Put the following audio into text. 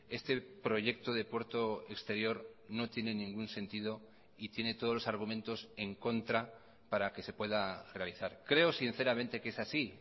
este proyecto de puerto exterior no tiene ningún sentido y tiene todos los argumentos en contra para que se pueda realizar creo sinceramente que es así